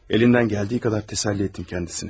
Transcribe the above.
Elindən gəldiyi qədər təsəlli etdim qəndisini.